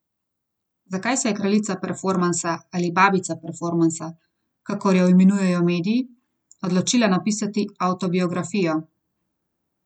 Zakaj se je kraljica performansa ali babica performansa, kakor jo imenujejo mediji, odločila napisati avtobiografijo?